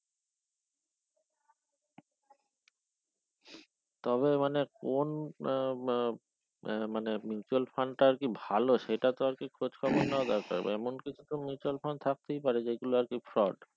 তবে মানে কোন আহ আহ আহ মানে mutual fund টা আরকি ভালো সেটা তো আরকি খোঁজ খবর নেওয়া দরকার এমন কিছু mutual fund থাকতেই পারে যেগুলো আর কি fraud